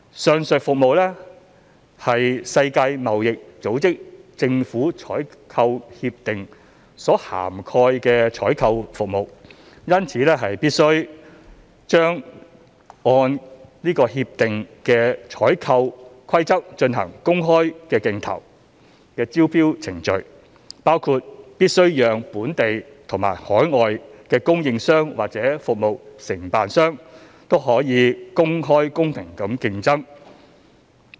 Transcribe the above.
上述服務為《世界貿易組織政府採購協定》所涵蓋的採購服務，因此必須按該協定的採購規則進行公開競投的招標程序，包括必須讓本地及海外的供應商或服務承辦商均可公開公平地競爭。